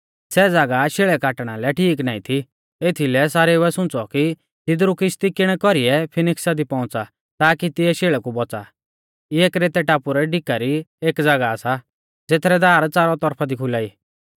सै ज़ागाह शेल़ै काटणा लै ठीक नाईं थी एथीलै सारेउऐ सुंच़ौ कि तिदरु किश्ती किणै कौरीऐ फीनिक्सा दी पौउंच़ा ताकी तिऐ शेल़ै कु बौच़ा इऐ क्रेतै टापु रै डिका री एक ज़ागाह सा ज़ेथरै दार च़ारौ तरफा दी खुला ई